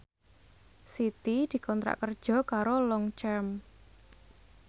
Siti dikontrak kerja karo Longchamp